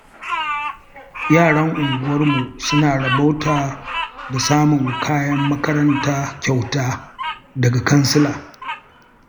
Yaran unguwa sun rabauta da samun kayan makaranta kyauta daga kansila.